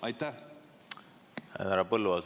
Härra Põlluaas!